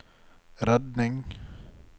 redning